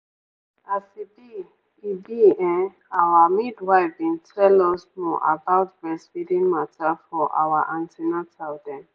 as e be e be[um]our midwife bin tell us more about breastfeeding mata for our an ten atal dem.